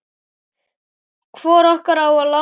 Hvor okkar á að láta